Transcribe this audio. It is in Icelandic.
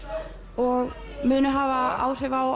og munu hafa áhrif á